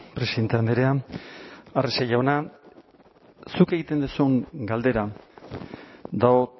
presidente andrea arrese jauna zuk egiten duzun galdera dago